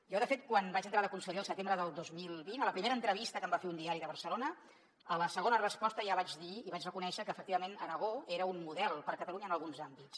jo de fet quan vaig entrar de conseller el setembre del dos mil vint a la primera entrevista que em va fer un diari de barcelona a la segona resposta ja vaig dir i vaig reconèixer que efectivament aragó era un model per a catalunya en alguns àmbits